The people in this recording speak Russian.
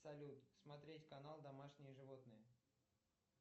салют смотреть канал домашние животные